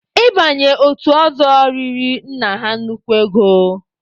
Ị banye otu ọzọ riri nna ha nnukwu ego.